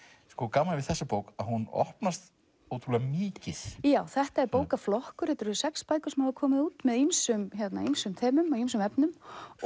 gaman við þessa bók að hún opnast ótrúlega mikið þetta er bókaflokkur sex bækur sem hafa komið út með ýmsum ýmsum þemum og ýmsum efnum